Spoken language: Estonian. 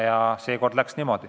Ja seekord läks niimoodi.